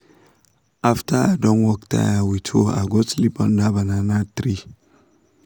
after i don work tire with hoe i go sleep under banana tree